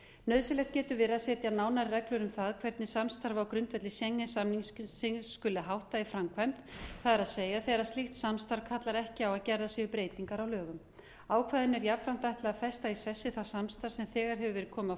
nauðsynlegt getur verið að setja nánari reglur um það hvernig samstarfi á grundvelli schengen samningsins skuli háttað í framkvæmd það er þegar slíkt samstarf kallar ekki á að gerðar séu breytingar á lögum ákvæðinu er jafnframt ætlað að festa í sessi það samstarf sem þegar hefur verið komið á